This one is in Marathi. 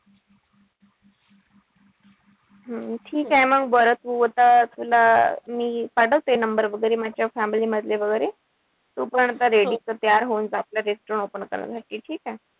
हम्म ठीकेय मंग बरं तू आता तुला मी पाठवते number वगैरे माझ्या family मधले वगैरे. तू पण आता ready तयार होऊन जा आपलं restaurant open करण्यासाठी. ठीकेय?